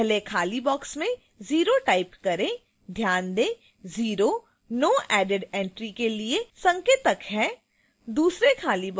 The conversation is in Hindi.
अब पहले खाली box में 0 type करें ध्यान दें 0 no added entry के लिए संकेतक है